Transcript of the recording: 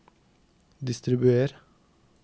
distribuer